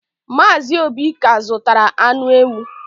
Mazị Obi ka zụtara anụ ewu.